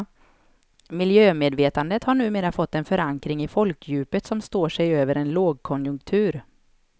Miljömedvetandet har numera fått en förankring i folkdjupet som står sig över en lågkonjunktur.